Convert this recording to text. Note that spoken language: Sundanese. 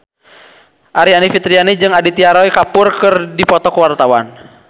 Aryani Fitriana jeung Aditya Roy Kapoor keur dipoto ku wartawan